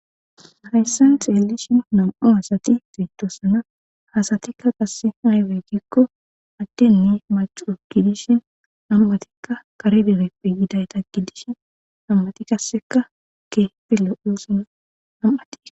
Hayssan xeelishin nam'u hasati fidosana hasatikka qasse haywey gikko addinni macu gidishin ammatikka kare debeppe yidayta gidishin ammati kasseka keefilo'uusana am'ati